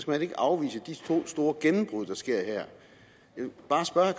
man ikke afvise de få store gennembrud der sker her jeg vil bare spørge